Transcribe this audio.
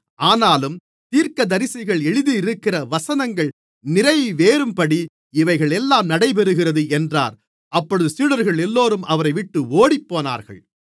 ஆனாலும் தீர்க்கதரிசிகள் எழுதியிருக்கிற வசனங்கள் நிறைவேறும்படி இவைகளெல்லாம் நடைபெறுகிறது என்றார் அப்பொழுது சீடர்களெல்லோரும் அவரைவிட்டு ஓடிப்போனார்கள்